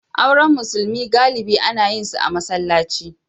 Auren musulmi galibi ana yin su a masallaci.